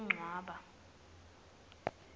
kuncwaba